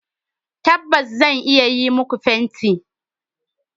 Tabbas, zan iya yi muku fenti